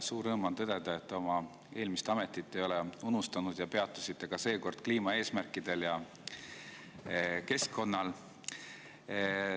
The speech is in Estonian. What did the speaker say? Suur rõõm on tõdeda, et te ei ole oma eelmist ametit unustanud ning peatusite ka seekord kliimaeesmärkidel ja keskkonnal.